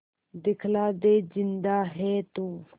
दिखला दे जिंदा है तू